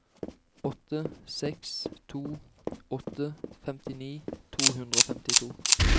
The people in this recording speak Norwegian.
åtte seks to åtte femtini to hundre og femtito